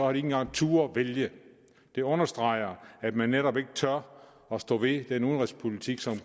engang turdet vælge det understreger at man netop ikke tør at stå ved den udenrigspolitik som